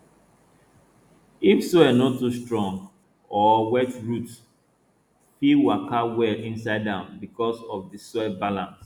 if soil no too strong or wet roots fit waka well inside am because of di soil balance